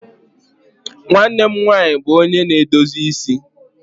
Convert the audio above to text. Nwanne m nwanyị bụ onye na-edozi isi.